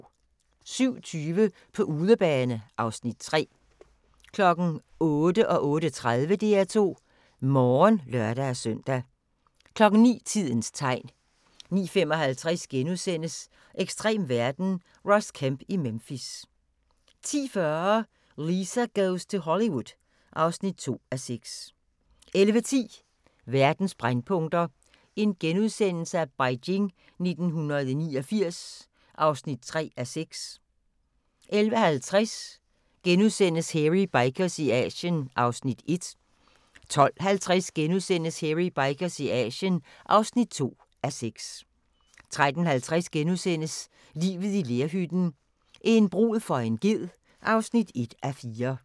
07:20: På udebane (Afs. 3) 08:00: DR2 Morgen (lør-søn) 08:30: DR2 Morgen (lør-søn) 09:00: Tidens tegn 09:55: Ekstrem verden – Ross Kemp i Memphis * 10:40: Lisa Goes to Hollywood (2:6) 11:10: Verdens brændpunkter: Beijing 1989 (3:6)* 11:50: Hairy Bikers i Asien (1:6)* 12:50: Hairy Bikers i Asien (2:6)* 13:50: Livet i lerhytten – en brud for en ged (1:4)*